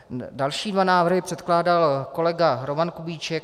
Další dva návrhy předkládal kolega Roman Kubíček.